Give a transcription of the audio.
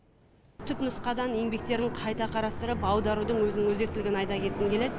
түпнұсқадан еңбектерін қайта қарастырып аударудың өзінің өзектілігін айта кеткім келеді